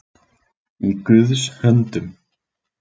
Í Guðs höndum